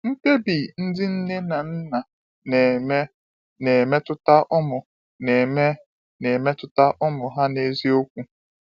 MKPEBI ndị nne na nna na-eme na-emetụta ụmụ na-eme na-emetụta ụmụ ha n’eziokwu.